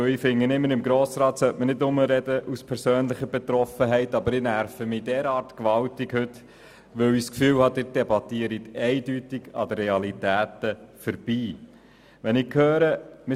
Ich bin der Auffassung, dass man hier nicht aus persönlicher Betroffenheit sprechen soll, aber ich nerve mich heute zu sehr, weil ich den Eindruck habe, dass Sie an den Realitäten vorbeidebattieren.